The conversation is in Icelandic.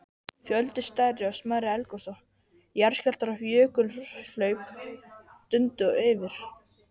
Fjöldi stærri og smærri eldgosa, jarðskjálftar og jökulhlaup dundu yfir.